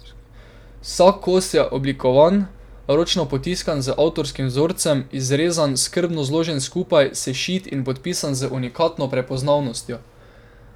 Vsak kos je oblikovan, ročno potiskan z avtorskim vzorcem, izrezan, skrbno zložen skupaj, sešit in podpisan z unikatno prepoznavnostjo.